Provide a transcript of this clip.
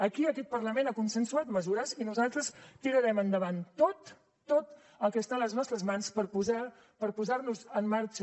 aquí aquest parlament ha consensuat mesures i nosaltres tirarem endavant tot tot el que està a les nostres mans per posar nos en marxa